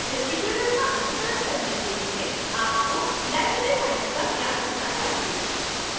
इस tutorial का अनुकरण करने के लिए आपको library science का ज्ञान होना चाहिए